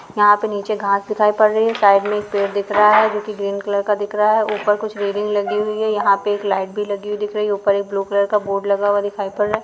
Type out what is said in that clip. यहाँ पे नीचे घास दिखाई पड़ रही है साइड में एक पेड़ दिख रहा है जो कि ग्रीन कलर का दिख रहा है ऊपर कुछ रेलिंग लगी हुई है यहाँ पे एक लाइट भी लगी हुईं दिख रही है ऊपर एक ब्लू कलर का बोर्ड लगा हुआ दिखाई पड़ रहा है।